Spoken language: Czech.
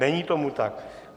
Není tomu tak.